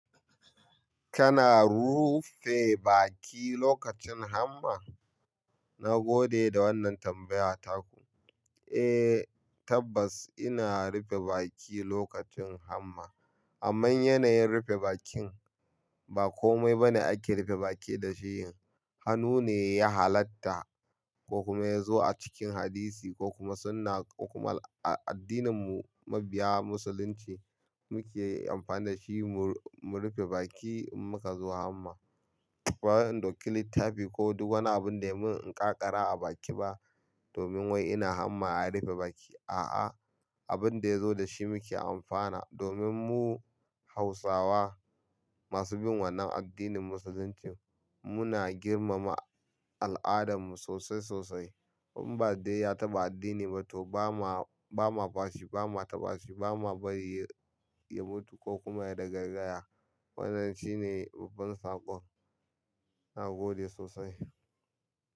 Kana rufe baki lokacin hamma? Na gode da wannan tambaya taku. Eh tabbas ina rufe baki lokacin hamma. Amman yanayin rufe bakin ba komai bane ake rufe baki da shi. Hannu ne ya halatta ko kuma ya zo a cikin hadisi ko kuma sunna ko kuma a addinin mu mabiya Musulunci muke amfani da shi mu. Mu rufe baki in muka zo hamma. Ba wai in dauki littafi ko duk wani abin da ya mun in ƙaƙara a baki ba domin wai ina hamma a rufe baki. A'a abin da ya zo da shi muke amfana domin mu. Hausawa masu bin wannan addinin Musuluncin. Muna girmama al'adar mu sosai sosai. In ba dai ya taba addini ba to ba ma, ba ma fashi ba ma taba shi ba ma bari ya mutu ko kuma ya ta gaiyara. Wannan shine babban saƙon na gode sosai.